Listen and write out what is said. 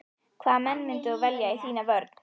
Hvaða menn myndir þú velja í þína vörn?